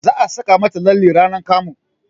Za a saka mata lalle ranar kamu